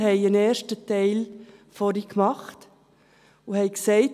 Wir haben vorhin einen ersten Teil gemacht und haben gesagt: